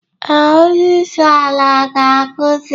Ee, onye isi ala ga-akwụsị